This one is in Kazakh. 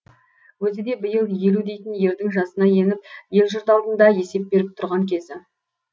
өзі де биыл елу дейтін ердің жасына еніп ел жұрт алдында есеп беріп тұрған кезі